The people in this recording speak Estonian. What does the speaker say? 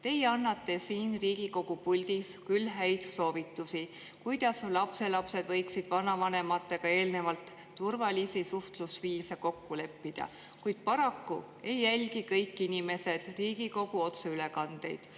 Teie annate siin Riigikogu puldis küll häid soovitusi, kuidas lapselapsed võiksid vanavanematega eelnevalt turvalisi suhtlusviise kokku leppida, kuid paraku ei jälgi kõik inimesed Riigikogu otseülekandeid.